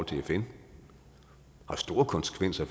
til fn og store konsekvenser